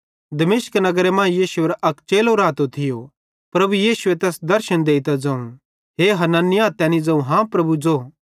दमिश्क नगरे मां यीशुएरो अक चेलो रातो थियो प्रभु यीशुए तैस दर्शन देइतां ज़ोवं हे हनन्याह तैनी ज़ोवं हाँ प्रभु ज़ो